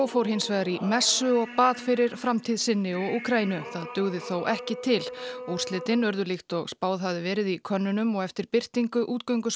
fór hins vegar í messu og bað fyrir framtíð sinni og Úkraínu það dugði þó ekki til úrslitin urðu líkt og spáð hafði verið í könnunum og eftir birtingu